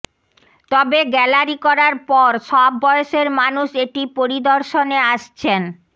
তবে গ্যালারি করার পর সব বয়সের মানুষ এটি পরিদর্শনে আসছেন